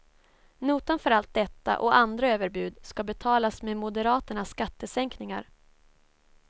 Notan för allt detta och andra överbud ska betalas med moderaternas skattesänkningar.